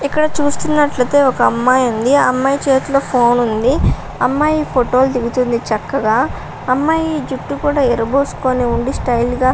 ఇక్కడ చూస్తున్నట్లయితే ఒక అమ్మాయి ఉంది ఆ అమ్మాయి చేతిలో ఫోన్ ఉంది అమ్మాయి ఫోటో లు దిగుతుంది చక్కగా అమ్మాయి జుట్టు కూడా విరపోసుకొని ఉండి స్టైల్ గా --